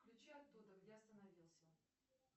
включи оттуда где остановился